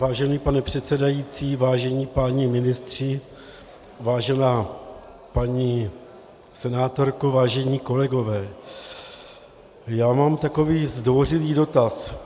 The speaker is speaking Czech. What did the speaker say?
Vážený pane předsedající, vážení páni ministři, vážená paní senátorko, vážení kolegové, já mám takový zdvořilý dotaz.